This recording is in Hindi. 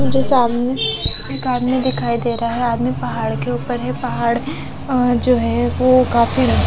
मुझे सामने एक आदमी दिखाई दे रहा है आदमी पहाड़ के ऊपर है पहाड़ अह जो है वो काफी--